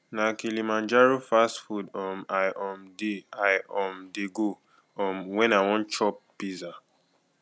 na kilimanjaro fast food um i um dey i um dey go um wen i wan chop pizza